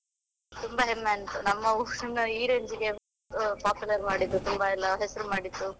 ತುಂಬಾ ಹೆಮ್ಮೆ ಆಯ್ತು, ನಮ್ಮ ಊರನ್ನ ಈ range ಗೆ popular ಮಾಡಿದ್ದು ತುಂಬಾ ಎಲ್ಲ ಹೆಸರು ಮಾಡಿದು.